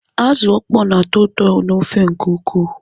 Azụ ọkpọ na-atọ ụtọ n'ofe nke ukwuu.